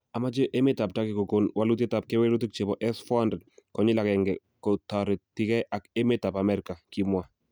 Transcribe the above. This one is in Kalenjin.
"Amache emetab Turkey kogon walutiet ab kewelutik chebo S-400 konyil agenge kotoretikei ak emetab Amerika," kimwa